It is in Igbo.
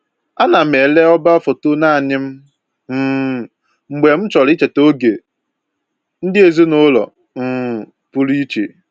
Ana m ele ọba foto naanị m um mgbe m chọrọ icheta oge ndị ezinụlọ um pụrụ iche